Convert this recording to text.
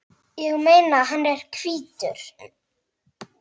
Ég meina, hann er hvítur!